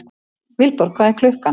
Vilborg, hvað er klukkan?